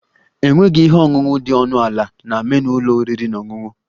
Enweghị ihe ọṅụṅụ dị ọnụ ala na menu ụlọ oriri na ọṅụṅụ